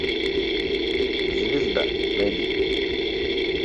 звезда найди